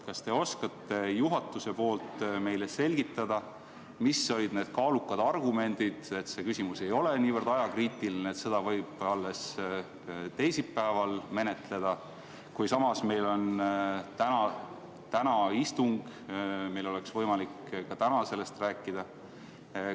Kas te oskate juhatuse nimel meile selgitada, mis olid need kaalukad argumendid, miks see küsimus ei ole niivõrd ajakriitiline, et seda võib alles teisipäeval menetleda, kui meil on täna istung ja meil oleks võimalik ka täna sellest rääkida?